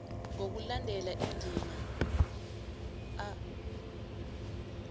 ngokulandela indima a